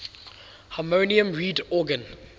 harmonium reed organ